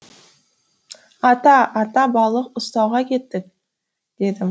ата ата балық ұстауға кеттік дедім